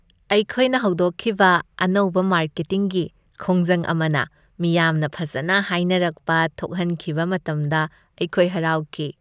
ꯑꯩꯈꯣꯏꯅ ꯍꯧꯗꯣꯛꯈꯤꯕ ꯑꯅꯧꯕ ꯃꯥꯔꯀꯦꯇꯤꯡꯒꯤ ꯈꯣꯡꯖꯪ ꯑꯃꯅ ꯃꯤꯌꯥꯝꯅ ꯐꯖꯅ ꯍꯥꯏꯅꯔꯛꯄ ꯊꯣꯛꯍꯟꯈꯤꯕ ꯃꯇꯝꯗ ꯑꯩꯈꯣꯏ ꯍꯔꯥꯎꯈꯤ ꯫